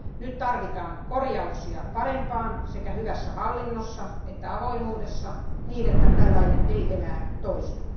Nyt tarvitaan korjauksia parempaan sekä hyvässä hallinnossa että avoimuudessa, niin että tällainen ei enää toistu.